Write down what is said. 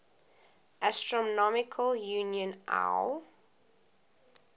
astronomical union iau